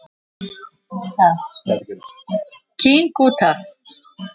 King út af.